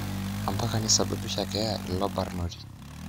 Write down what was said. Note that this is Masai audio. Ompaka nisababisha keya ilo barnoti